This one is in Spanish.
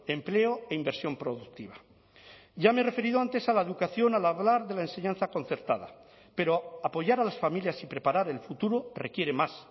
empleo e inversión productiva ya me he referido antes a la educación al hablar de la enseñanza concertada pero apoyar a las familias y preparar el futuro requiere más